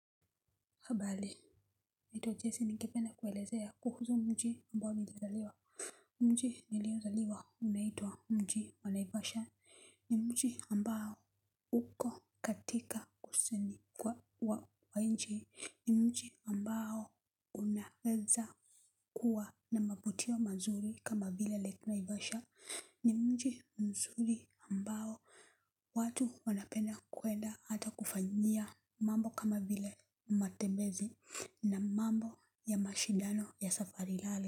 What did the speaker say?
Habari. Naitwa Jesse ningependa kuelezea kuhusu mji ambao nilizaliwa. Mji niliozaliwa unaitwa mji wa naivasha. Ni mji ambao uko katika kusini kwa wa wa nchi. Ni mji ambao unaeza kuwa na mavutio mazuri kama vile lake naivasha. Ni mji mzuri ambao watu wanapenda kwenda hata kufanyia mambo kama vile matebezi na mambo ya mashidano ya safari rally.